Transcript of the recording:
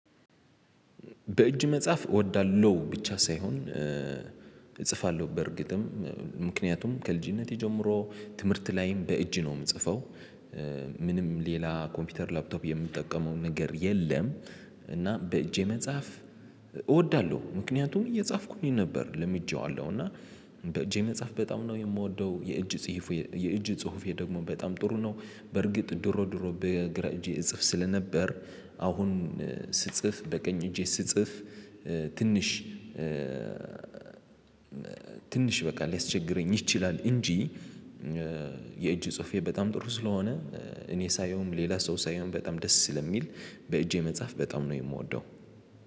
በእጅ መጳፍ እወዳለሁ ብቻ ሳይሆን እጽፋለሁ በእርግጥም ምክንያቱም ከልጅነቴ ጀምሮ ትምህርት ላይም በእጅ ነው ምጽፈው ምንም ሌላ ኮምፒውተር ላፕቶፕ የምጠቀመው ነገር የለም። እና በእጄ መጻፍ እወዳለሁ። ምክንያቱም እየጻፍኩኝ ነበር ለምጄዋለሁ እና። በእጄ መጻፍ በጣም ነው የምወደው የእጅ ጽሁፍ የእጅ ጽሁፌ ደግሞ በጣም ጥሩ ነው። በርግጥ ድሮ ድሮ በግራ እጄ እጽፍ ስለነበር አሁን ስጽፍ በቀኝ እጄ ስጽፍ ትንሽ ትንሽ በቃ ሊያስቸግረኝ ይችላል እንጂ። የእጅ ጽሁፌ በጣም ጥሩ ስለሆነ እኔ ሳየውም ሌላ ሰው ሳየውም በጣም ደስ ስለሚል በእጄ መጻፍ በጣም ነው የምወደው